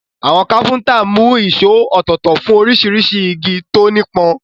Àwọn kápẹ́ntà mú ìṣó ọ̀tọ̀ọ̀tọ̀ fún oríṣiríṣi igi tó nípọn.